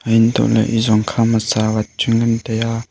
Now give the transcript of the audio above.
antohle ezong khama tawat chu ngantaiya.